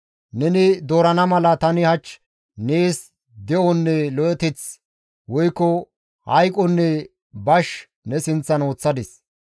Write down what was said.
Neni doorana mala tani hach nees de7onne lo7eteth, woykko hayqonne bash ne sinththan woththadis.